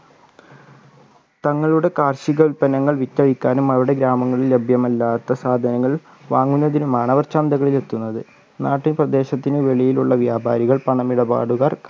തങ്ങളുടെ കാർഷിക ഉൽപന്നങ്ങൾ വിറ്റഴിക്കാനും അവരുടെ ഗ്രാമങ്ങളിൽ ലഭ്യമല്ലാത്ത സാധനങ്ങൾ വാങ്ങുന്നതിനുമാണ് അവർ ചന്തകളിൽ എത്തുന്നത് നാട്ടുപ്രദേശത്തിന് വെളിയിലുള്ള വ്യാപാരികൾ പണമിടപാടുകാർ